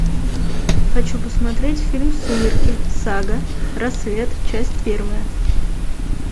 хочу посмотреть фильм сумерки сага рассвет часть первая